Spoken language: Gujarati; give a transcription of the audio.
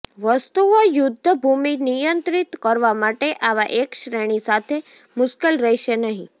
વસ્તુઓ યુદ્ધભૂમિ નિયંત્રિત કરવા માટે આવા એક શ્રેણી સાથે મુશ્કેલ રહેશે નહીં